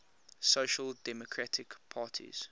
social democratic parties